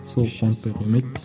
сол қуантпай қоймайды